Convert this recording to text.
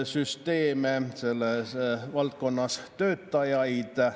selles valdkonnas töötajaid.